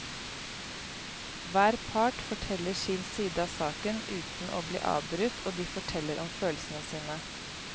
Hver part forteller sin side av saken uten å bli avbrutt og de forteller om følelsene sine.